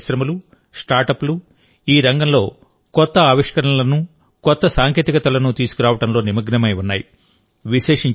భారతీయ పరిశ్రమలుస్టార్టప్లు ఈ రంగంలో కొత్త ఆవిష్కరణలనుకొత్త సాంకేతికతలను తీసుకురావడంలో నిమగ్నమై ఉన్నాయి